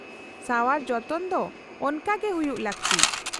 -ᱥᱟᱣᱟᱨ ᱡᱚᱛᱚᱱ ᱫᱚ ᱚᱱᱠᱟᱜᱮ ᱦᱩᱭᱩᱜ ᱞᱟᱹᱠᱛᱤ ᱾